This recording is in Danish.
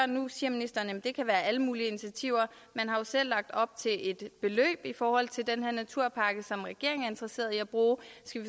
nu siger ministeren at det kan være alle mulige initiativer man har jo selv lagt op til et beløb i forhold til den her naturpakke som regeringen er interesseret i at bruge